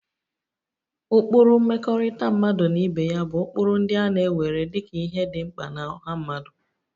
Ụkpụrụ mmekọrịta mmadụ na ibe ya bụ ụkpụrụ ndị a na-ewere dị ka ihe dị mkpa na ọha mmadụ